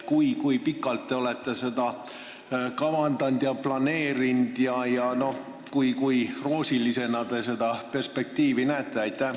Kui pikalt te olete seda kavandanud ja kui roosilisena te seda perspektiivi näete?